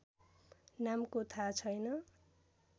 नामको थाहा छैन